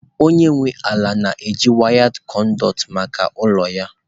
Onye nwe ala na-eji wired conduit maka ụlọ ya.